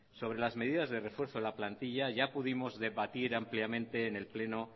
sobre las medidas de refuerzo de la plantilla ya pudimos debatir ampliamente en el pleno